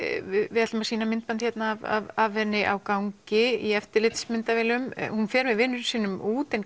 við ætlum að sýna myndbandið af henni á gangi í eftirlitsmyndavélum hún fer með vinum sínum út en